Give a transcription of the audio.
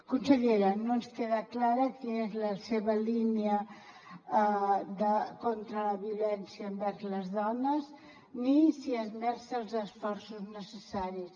consellera no ens queda clara quina és la seva línia contra la violència envers les dones ni si hi esmerça els esforços necessaris